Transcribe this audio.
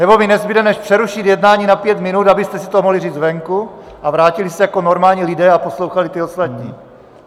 Nebo mi nezbude než přerušit jednání na pět minut, abyste si to mohli říct venku a vrátili se jako normální lidé a poslouchali ty ostatní.